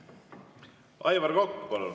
Aivar Kokk, palun!